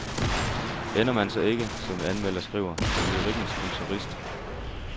Ender man så ikke, som en anmelder skriver, som lyrikkens kontorist.